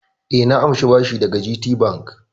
E, na amshi bashi daga GTBank.